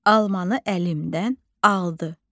Almanı əlimdən aldı.